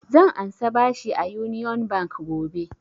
Zan ansa bashi a union bank gobe